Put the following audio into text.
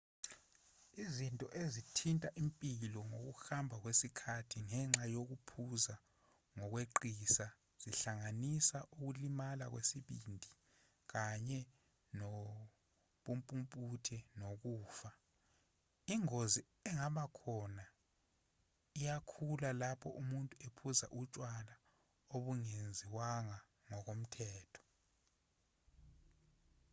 izinto ezithinta impilo ngokuhamba kwesikhathi ngenxa yokuphuza ngokweqisa zingahlanganisa ukulimala kwesibindi kanye nobumpumputhe nokufa ingozi engaba khona iyakhula lapho umuntu ephuza utshwala obungenziwanga ngokomthetho